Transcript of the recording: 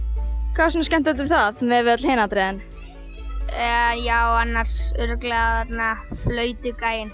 hvað var svona skemmtilegt við það miðað við öll hin atriðin eða já annars örugglega þarna